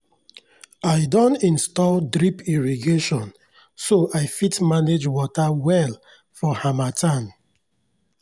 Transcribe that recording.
i don install drip irrigation so i fit manage water well for harmattan.